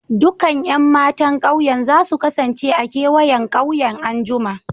Dukan Yan matan ƙauyen za su kasance a'kewayen ƙauyen an'jumma.